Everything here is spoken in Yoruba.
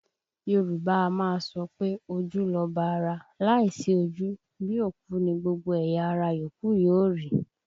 Yorùbá a máa sọ pé ojú lọba ara, láìsí ojú, bí òkú ni gbogbo ẹ̀yà ara yòókù yóò rí